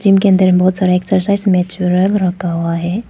Gym अंदर बहुत सारा एक्सरसाइज मेचुरन रखा हुआ है।